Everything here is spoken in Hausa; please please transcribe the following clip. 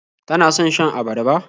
Tana son shan abarba.